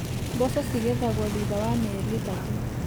Mboco cigethagwo thutha wa mĩeri ĩtatũ.